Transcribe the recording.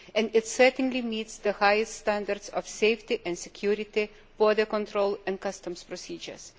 It certainly meets the highest standards of safety and security for control and customs procedures.